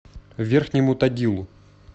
верхнему тагилу